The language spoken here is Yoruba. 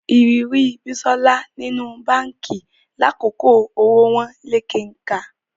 Ìrírí Bísọ́lá nínú báǹkì lákòókò owó wọ́n lé kenkà